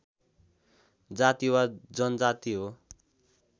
जाति वा जनजाति हो